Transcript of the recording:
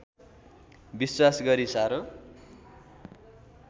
विश्वास गरी साह्रो